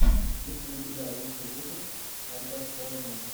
есть ли у тебя лучший выпуск айкаксложно